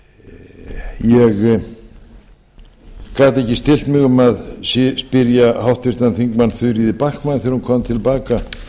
ég gat ekki stillt mig um að spyrja háttvirtan þingmann þuríði backman þegar hún kom til baka